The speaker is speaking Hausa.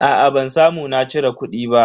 Aa ban samu na cire kudi ba.